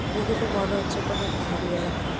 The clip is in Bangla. দেখে তো মনে হচ্ছে কোনো পাহাড়ি এলাকা ।